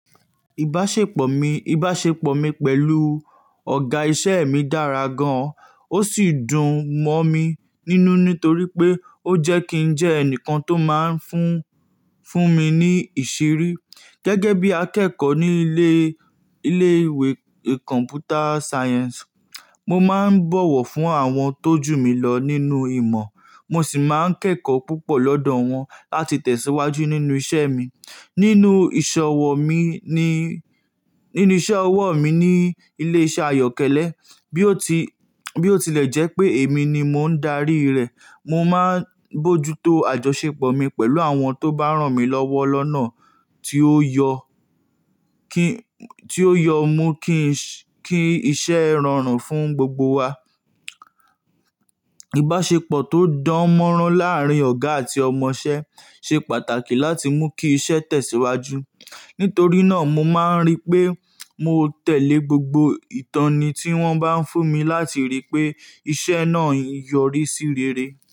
Ìbáṣepọ̀ mi, ìbáṣepọ̀ mi pẹ̀lú ọ̀gá iṣẹ́ mi dára gan-an, ó sì dùn mọ́ mi nínú nítorí pé ó jẹ́ kí n jẹ́ ẹnìkan tó máa ń fún, fún mi ní ìṣirí. Gẹ́gẹ́ bí akẹ́kọ̀ọ́ ní ilé, ilé ìwé Computer Science, mo máa ń bọ̀wọ̀ fún àwọn tó jù mí lọ nínú ìmọ̀, mo sì máa ń kẹ́kọ̀ọ́ púpọ̀ lọ́dọ̀ wọn láti tẹ̀síwájú nínú iṣẹ́ mi. Nínú ìṣọwọ́ mi ní, nínú iṣẹ́ ọwọ́ mi ní ilé iṣẹ́ Ayọ̀kẹ́lẹ́, bí ó ti, bí ó tilẹ̀ jẹ́ pé èmi ni mò ń darí rẹ̀, mo máa ń bójútó àjọṣepọ̀ mi pẹ̀lú àwọn tó bá rán mi lọ́wọ́ lọ́nà tí ó yọ kí, tí ó yọ mú kí kí iṣẹ́ rọrùn fún gbogbo wa. Ìbáṣepọ̀ tó dánmọ́rán láàárín ọ̀gá àti ọmọṣẹ́ ṣe pàtàkì láti mú kí iṣẹ́ tẹ̀síwájú. Nítorí náà mo máa ń rí pé mo tẹ̀lé gbogbo ìtọ́ni tí wọ́n bá ń fún mi láti rí pé iṣẹ́ náà yọrí sí rere.